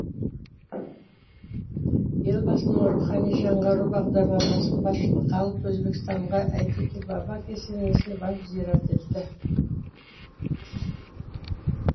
елбасының рухани жаңғыру бағдарламасын басшылыққа алып өзбекстанға әйтеке баба кесенесіне барып зиярат етті